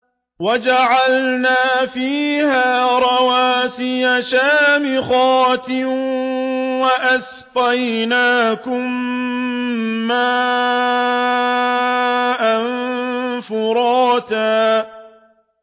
وَجَعَلْنَا فِيهَا رَوَاسِيَ شَامِخَاتٍ وَأَسْقَيْنَاكُم مَّاءً فُرَاتًا